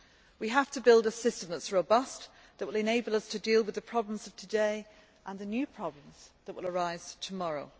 We have to build a system that is robust, that will enable us to deal with the problems of today and the new problems that will arise tomorrow.